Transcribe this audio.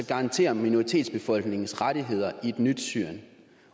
garantere minoritetsbefolkningens rettigheder i et nyt syrien